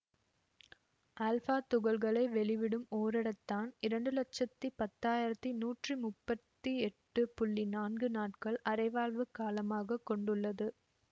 alpha துகள்களை வெளிவிடும் ஒரிடத்தான் இரண்டு லட்சத்தி பத்தாயிரத்தி நூற்றி முப்பத்தி எட்டு புள்ளி நான்கு நாட்கள் அரைவாழ்வுக் காலமாக கொண்டுள்ளது